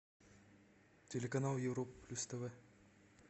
телеканал европа плюс тв